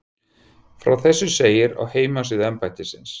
Frá þessu segir á heimasíðu embættisins